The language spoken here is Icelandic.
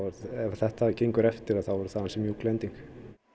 ef þetta gengur eftir er það ansi mjúk lending